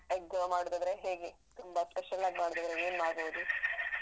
Egg ಗ್ ಮಾಡುದಾದ್ರೆ ಹೇಗೆ? ತುಂಬ special ಆಗ್ ಮಾಡುದಾದ್ರೆ ಏನ್ ಮಾಡ್ಬೋದು?